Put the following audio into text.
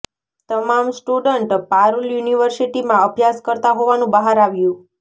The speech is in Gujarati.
તમામ સ્ટુડન્ટ પારૂલ યુનિવર્સિટીમાં અભ્યાસ કરતા હોવાનું બહાર આવ્યું